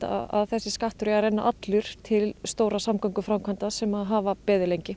að þessi skattur eigi að renna allur til stórra samgönguframkvæmda sem hafa beðið lengi